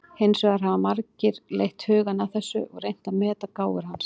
Hins vegar hafa margir leitt hugann að þessu og reynt að meta gáfur hans.